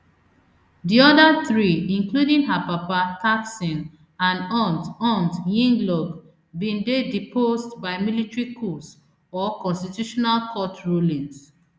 di oda three including her papa thaksin and aunt aunt yingluck bin dey deposed by military coups or constitutional court rulings